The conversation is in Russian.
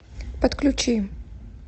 подключи